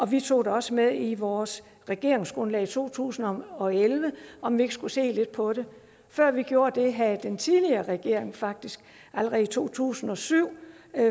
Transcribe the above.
vi tog også med i vores regeringsgrundlag i to tusind og elleve om vi ikke skulle se lidt på det før vi gjorde det havde den tidligere regering faktisk allerede i to tusind og syv